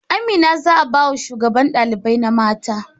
Amina za'a baya shugaban ɗalibar na mata